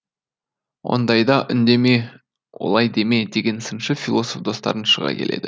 ондайда үндеме олай деме дейтін сыншы философ достарын шыға келеді